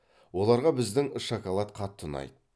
оларға біздің шоколад қатты ұнайды